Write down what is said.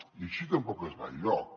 i així tampoc es va enlloc